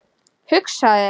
Hugsaðu þér.